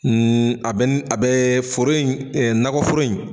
N a bɛ n a bɛ foro in nakɔforo in